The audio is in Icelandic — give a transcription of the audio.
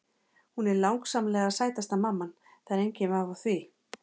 Hún er langsamlega sætasta mamman, það er enginn vafi á því.